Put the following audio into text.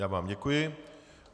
Já vám děkuji.